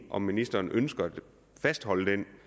om ministeren ønsker at fastholde den